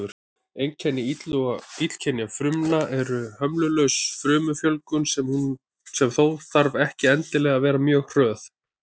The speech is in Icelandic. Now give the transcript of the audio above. Einkenni illkynja frumna er hömlulaus frumufjölgun, sem þó þarf ekki endilega að vera mjög hröð.